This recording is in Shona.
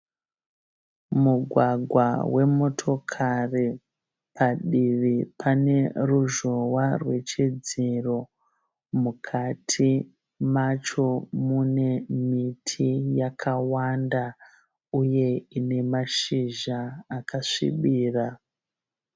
Mugwagwa wemotikari padivi pane ruzhowa rwechidziro. Mukati macho mune miti yakawanda uye ine mashizha akasvibira.